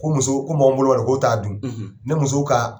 Ko muso ko mɔgɔ min bolo b'a la k'o ta dun ne muso ka